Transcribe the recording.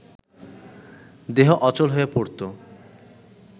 দেহ অচল হয়ে পড়ত